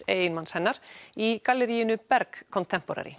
eiginmanns hennar í galleríinu Berg